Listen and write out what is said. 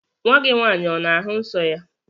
Nwa gị nwaanyị ana-ahụ nsọ ya?